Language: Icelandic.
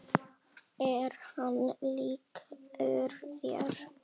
Er hann líkur þér?